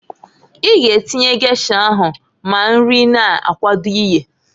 I g'atinnye gesha ahụ ma nri na-akwado iyeǃ